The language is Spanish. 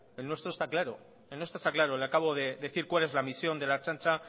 el nuestro está claro le acabo de decir cuál es la misión de la ertzaintza